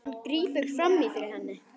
Hann grípur fram í fyrir henni.